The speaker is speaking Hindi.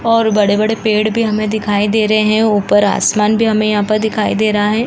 और बड़े-बड़े पेड़ भी हमें दिखाई दे रहे है और ऊपर आसमान भी हमें यहां पर दिखाई दे रहा है।